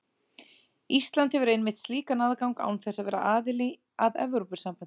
Ísland hefur einmitt slíkan aðgang án þess að vera aðili að Evrópusambandinu.